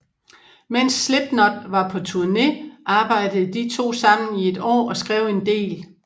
Mens Slipknot var på turné arbejde de to sammen i et år og skrev en del